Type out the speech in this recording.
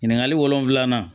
Ɲininkali wolonfila